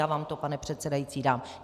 Já vám to, pane předsedající, dám.